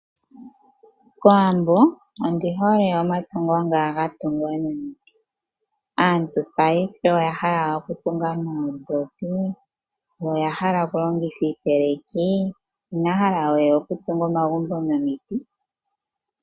KOwambo ondi hole oondunda ndhoka dha dhikwa niiti. Aantu paife oya hala okutunga noondhopi, oya hala okulongitha iipeleki. Inaya hala we okudhika omagumbo niiti.